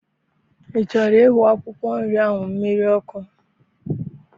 I chọrọ iwu akwụkwọ nri ahụ mmiri ọkụ?